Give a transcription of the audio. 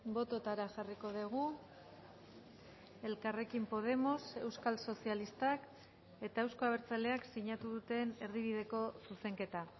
bototara jarriko dugu elkarrekin podemos euskal sozialistak eta euzko abertzaleak sinatu duten erdibideko zuzenketa